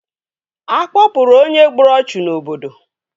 Akpọpụrụ onye gburu ọchụ n'obodo?